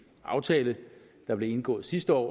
aftale der blev indgået sidste år